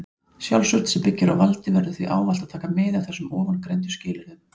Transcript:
Sjálfsvörn sem byggir á valdi verður því ávallt að taka mið af þessum ofangreindu skilyrðum.